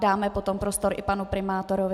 Dáme potom prostor i panu primátorovi.